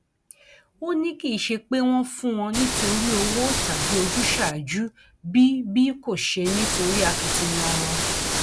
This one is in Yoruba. ó ní kì í ṣe pé wọn fún wọn nítorí owó tàbí ojúsàájú bí bí kò ṣe nítorí akitiyan wọn